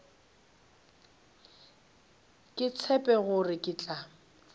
ke tshepe gore ke tla